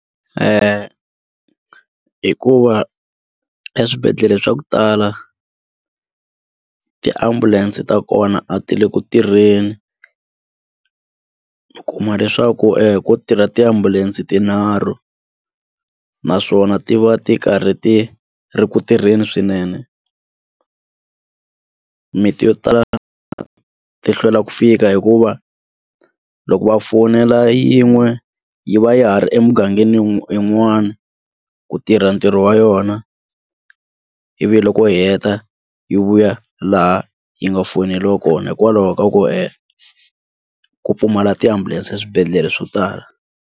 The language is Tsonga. Hikuva eswibedhlele swa ku tala tiambulense ta kona a ti le ku tirheni u kuma leswaku ko tirha tiambulense tinharhu naswona ti va ti karhi ti ri ku tirheni swinene mimiti yo tala ti hlwela ku fika hikuva loko va fonela yin'we yi va yi ha ri emugangeni yin'wana ku tirha ntirho wa yona ivi loko yi heta yi vuya laha yi nga fowuneriwa kona hikwalaho ka ku ku pfumala ti ambulance eswibedhlele swo tala.